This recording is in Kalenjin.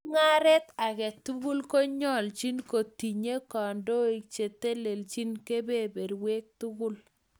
Mung'aret age tugul konyoljin kotinye kandoik cheteleljin kebeberwek tugul